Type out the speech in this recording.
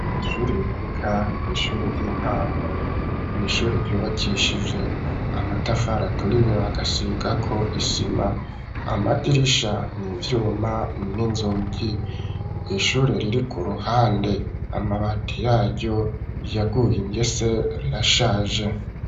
Ishure riboneka kwishure ry'intango, n'ishure ryubakishije amatafari aturiyo bagasigako isima, amadirisha nivyuma n'inzogi, ishure riri kuruhande amabati yaryo yaguye ingese arashaje.